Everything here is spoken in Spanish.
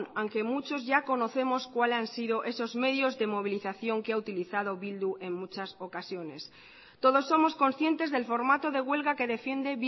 aunque muchos ya conocemos cuál han sido esos medios de movilización que ha utilizado bildu en muchas ocasiones todos somos conscientes del formato de huelga que defiende